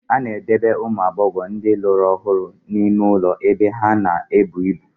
A na-edobe ụmụ agbọghọ ndị lụrụ ọhụrụ n'ime ụlọ ebe ha na-ebu ibu.